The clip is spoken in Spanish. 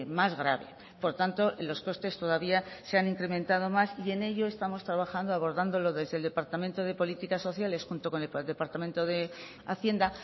más grave por tanto los costes todavía se han incrementado más y en ello estamos trabajando abordándolo desde el departamento de política sociales junto con el departamento de hacienda